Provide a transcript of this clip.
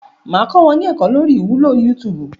Máa kọ wọn ní ẹ̀kó lórí ìwúlò yútúúbù.